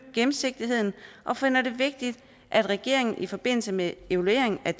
gennemsigtigheden og finder det vigtigt at regeringen i forbindelse med evalueringen af